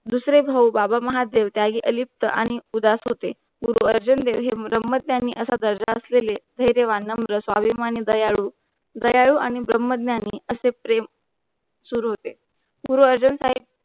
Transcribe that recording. दुसरे भाव बाबा महादेव त्यागी अलिप्त आणि उदास होते गुरु अर्जुन देवजी मुराम्मद त्यांनी अशा दर्जास दिले, हे देवांना मुला स्वाभिमान, दयालु आणि असे प्रेम सुरू होते. गुरु अर्जुन साहिब